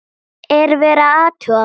Er verið að athuga mig?